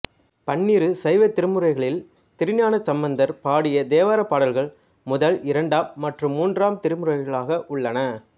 பன்னிரு சைவத் திருமுறைகளில் திருஞான சம்பந்தர் பாடிய தேவாரப் பாடல்கள் முதல் இரண்டாம் மற்றும் மூன்றாம் திருமுறைகளாக உள்ளன